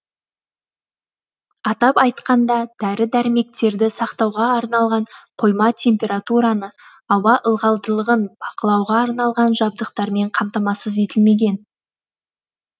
атап айтқанда дәрі дәрмектерді сақтауға арналған қойма температураны ауа ылғалдылығын бақылауға арналған жабдықтармен қамтамасыз етілмеген